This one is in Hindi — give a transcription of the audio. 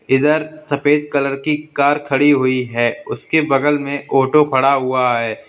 इधर सफेद कलर की कार खड़ी हुई है उसके बगल में ऑटो खड़ा हुआ है।